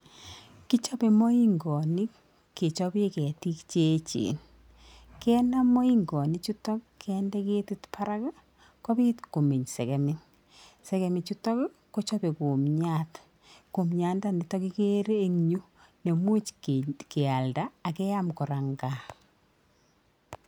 Kichope moingonik kechopee ketik cheechen. Kenam moingonik chutok kendee ketik barak kopiit komeny segemik. Segemik chutok kochope kumnyat, Kumnyandanitok igere eng yu komuch kealda akeam kora eng kaa.